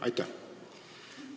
Aitäh!